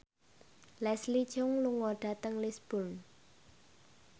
Leslie Cheung lunga dhateng Lisburn